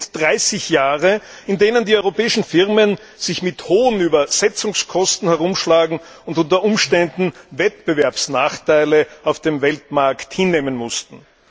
Das sind 30 Jahre, in denen die europäischen Firmen sich mit hohen Übersetzungskosten herumschlagen und unter Umständen Wettbewerbsnachteile auf dem Weltmarkt hinnehmen mussten.